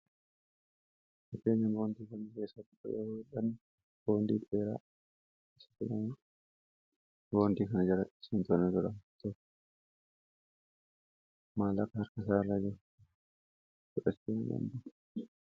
akenan bawantii bnti keessaa tipayarodaan bondii dheeraa isa aa boontii kana jara isantoana durata maalaaka harka saa irraa jiru sudesti a gembu